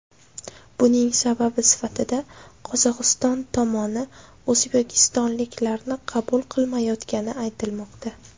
Buning sababi sifatida Qozog‘iston tomoni o‘zbekistonliklarni qabul qilmayotgani aytilmoqda.